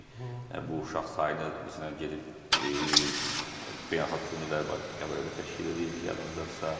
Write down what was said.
Bu uşaq sayına məsələn gedib beynəlxalq turnirlər Qəbələdə təşkil eləyirdik, yadınızdadısa.